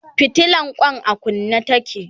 fitilan Kwan a kunne take